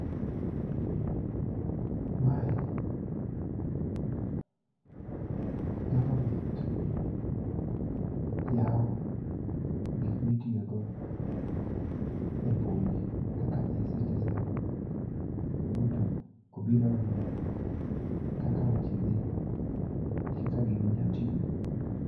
Mae government yawo gik mitiyo go e mbui kaka ecitizen. Ruto obiro ng'iyo kaka weche dhi, kaka gini nya tiyo.